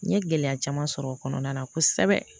N ye gɛlɛya caman sɔrɔ o kɔnɔna na kosɛbɛ